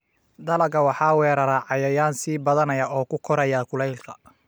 Dalagga waxaa weerara cayayaan sii badanaya oo ku koraya kuleylka.